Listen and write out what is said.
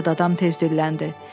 Yad adam tez dilləndi.